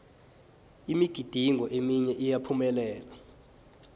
imigidingo eminye iyaphumelela